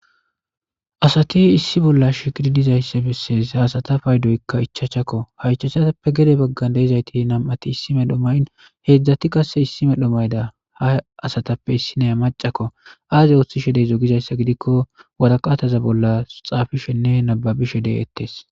Asati issi bolla shikiri dizayssa bessees asata pay doykka ichachakko ha ichachappe gede baggan deezayti nam7ati issime dhomayn heedzdzati qasse issime dhomayda ha asatappe issinaya macakko aaze ooththi shedey zogizayssa gidikko wataqaataza bolla xaafishenne nababi shedey ettees.